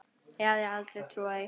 Ég hefði aldrei trúað því.